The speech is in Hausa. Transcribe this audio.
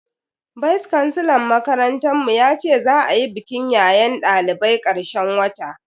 Vice kansilar makarantar mu yace za a yi bikin yayen dalibai karshen wata